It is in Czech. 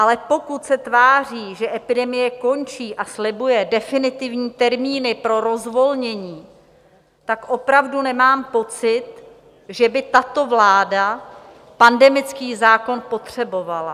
Ale pokud se tváří, že epidemie končí, a slibuje definitivní termíny pro rozvolnění, tak opravdu nemám pocit, že by tato vláda pandemický zákon potřebovala.